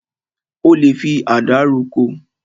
O lè fi àdá roko.